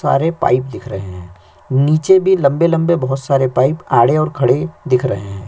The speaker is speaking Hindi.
सारे पाइप दिख रहे है नीचे भी लम्बे - लम्बे बोहोत सारे पाइप आड़े और खड़े दिख रहे है --